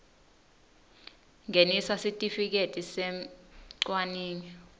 ngenisa sitifiketi semcwaningi